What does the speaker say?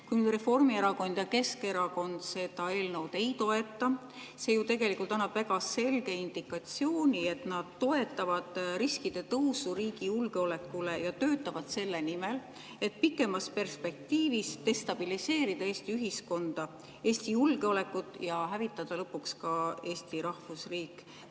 Kui Reformierakond ja Keskerakond seda eelnõu ei toeta, siis see ju tegelikult annab väga selge indikatsiooni, et nad toetavad julgeolekuriskide tõusu ja töötavad selle nimel, et pikemas perspektiivis destabiliseerida Eesti ühiskonda, Eesti julgeolekut ja hävitada lõpuks ka Eesti rahvusriik.